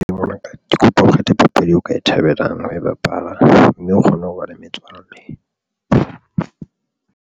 Mongaka ke kopa o kgethe papadi eo ka e thabelang ho e bapala mme o kgone ho ba le metswalle.